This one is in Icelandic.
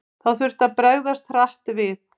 Þá þurfti að bregðast hratt við.